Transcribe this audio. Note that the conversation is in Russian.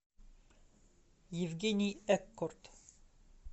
евгений эккорт